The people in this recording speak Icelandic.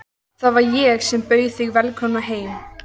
Það var ég sem bauð þig velkomna í heiminn.